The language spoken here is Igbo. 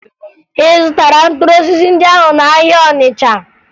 Ị zụtara mkpụrụ osisi ndị ahụ n'ahịa Ọnịcha?